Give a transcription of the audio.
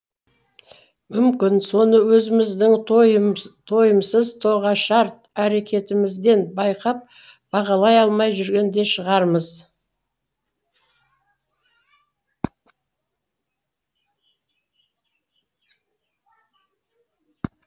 мүмкін соны өзіміздің тойымсыз тоғышар әрекетімізден байқап бағалай алмай жүрген де шығармыз